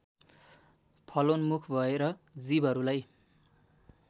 फलोन्मुख भएर जीवहरूलाई